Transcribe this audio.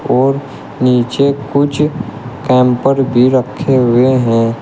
और नीचे कुछ कैम्पर भी रखे हुए हैं।